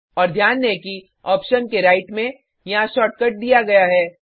और ध्यान दें कि ऑप्शन के राइट में यहाँ शॉर्टकट दिया गया है